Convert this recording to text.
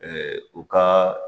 u ka